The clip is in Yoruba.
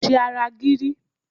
Ṣe ara gírí!